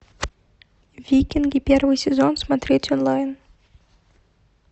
викинги первый сезон смотреть онлайн